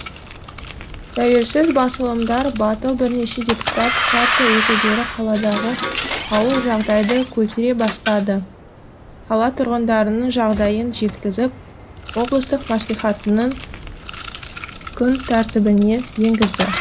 тәуелсіз басылымдар батыл бірнеше депутат партия өкілдері қаладағы ауыр жағдайды көтере бастады қала тұрғындарының жағдайын жеткізіп облыстық мәслихаттың күн тәртібіне енгізді